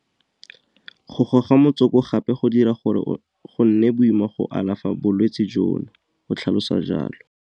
Go goga motsoko gape go dira gore go nne boima go alafa bolwetse jono, o tlhalosa jalo.